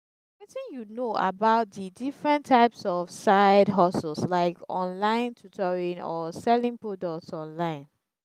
wetin you know about di different types of side-hustles like online tutoring or selling products online?